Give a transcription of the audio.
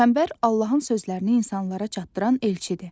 Peyğəmbər Allahın sözlərini insanlara çatdıran elçidir.